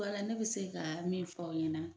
Baara ne bɛ se ka min fɔ aw ɲɛna